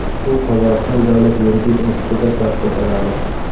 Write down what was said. U Qozog‘iston davlat yuridik institutida tahsil oladi.